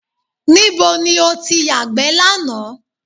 Níbo ni o ti yàgbẹ́ lánàá?